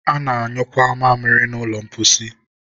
a na-anyụkwa mamịrị na ụlọ mposi